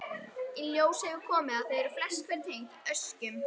Í ljós hefur komið að þau eru flest hver tengd öskjum.